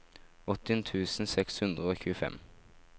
åttien tusen seks hundre og tjuefem